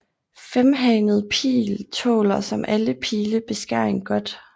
Femhannet Pil tåler som alle pile beskæring godt